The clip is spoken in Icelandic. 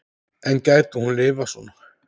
En gæti hún lifað svona?